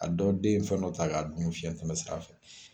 A dɔ den ye fɛn dɔ ta k'a dun fiyɛn tɛmɛ sira fɛ.